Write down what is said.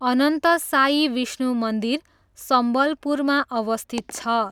अनन्तसायी विष्णु मन्दिर सम्बलपुरमा अवस्थित छ।